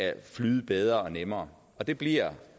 flyde bedre og nemmere og det bliver